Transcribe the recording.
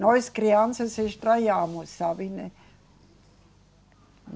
Nós crianças estranhamos, sabe, né